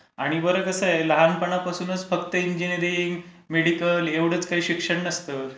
आणि बरं, कसं आहे, लहानपणापासून फक्त इंजीनीरिंग, मेडिकल एवढचं काही शिक्षण नसते.